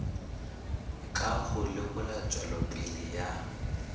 ka ho lekola tswelopele ya